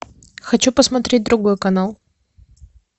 хочу посмотреть другой канал